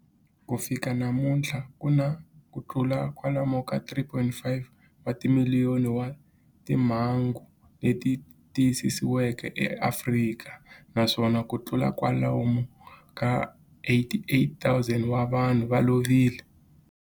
Ku fika namuntlha ku na kutlula kwalomu ka 3.5 wa timiliyoni wa timhangu leti tiyisisiweke eAfrika, naswona kutlula kwalomu ka 88,000 wa vanhu va lovile.